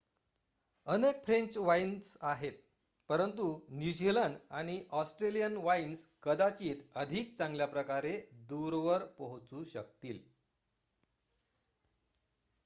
अनेक French wines आहेत परंतु न्यूझिलंड आणि ऑस्ट्रेलियन वाइन्स कदाचित अधिक चांगल्याप्रकारे दूरवर पोहोचू शकतील